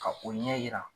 Ka o ɲɛ yira